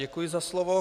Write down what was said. Děkuji za slovo.